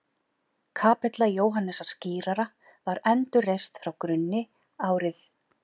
Kapella Jóhannesar skírara var endurreist frá grunni árið